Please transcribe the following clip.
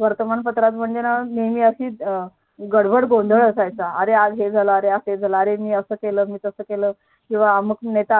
वर्तमान पत्रात ना नेहमी असं गडबड गोंधळ असायचं अरे आज हे झालं आज ते झालं आज मी हे केलं मी ते केले किंवा